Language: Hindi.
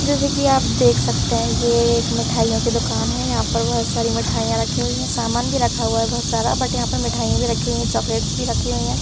जैसे कि आप देख सकते हैं यह एक मिठाइयों की दुकान है यहां पर बहुत सारी मिठाइयां रखी हुई हैं सामान भी रखा हुआ है बहुत सारा बट यहां पर मिठाइयां भी रखी हुई हैं चॉकलेट्स भी रखी हुई हैं।